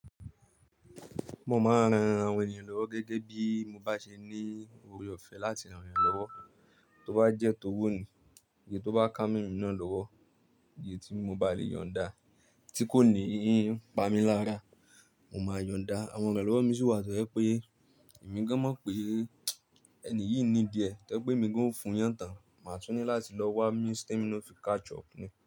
Mo máa ń ran àwọn ènìyàn lọ́wọ́ gẹ́gẹ́ bí mo bá ṣe ní ore ọ̀fẹ́ láti ràn yàn lọ́wọ́, tó bá jẹ́ t'owó ni, eye tó bá ká mọ́ èmi náà lọ́wọ́, èyí tí mo bá lè yọ̀n da, tí kò ní í pa mí lára, mo máa yọ̀n da. Àwọn ìrànlọ́wọ́ míì sì wà tó jẹ́ pé èmi gan mọ̀ pé ẹni yìí need ẹ̀, tó jẹ́ pé èmi gan ó fún yàn tán, màá tún ní láti lọ wá means tí èmi náà ó fi catch up ni.